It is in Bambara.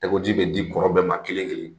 Tigɛkoji bɛ di kɔrɔ bɛɛ ma kelen kelen